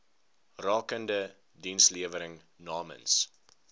rakende dienslewering namens